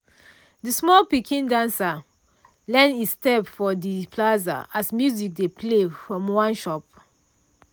de small pikin dancer learn e step for de plaza as music dey play from one shop.